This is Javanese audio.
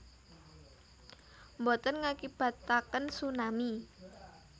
Boten ngakibataken tsunami